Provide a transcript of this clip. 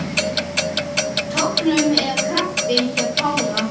Tognun eða krampi hjá Kára?